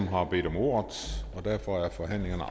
har bedt om ordet og derfor er forhandlingerne